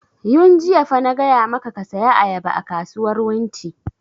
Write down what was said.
Yun jiya fa na gaya maka ka saya ayaba a kasuwar wunti!